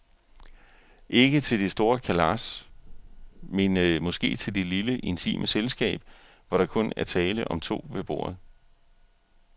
Ikke til det store kalas, men måske til det lille, intime selskab, hvor der kun er tale om to ved bordet.